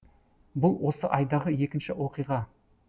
бұл осы айдағы екінші оқиға